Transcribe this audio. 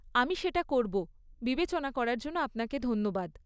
আমি সেটা করব, বিবেচনা করার জন্য আপনাকে ধন্যবাদ!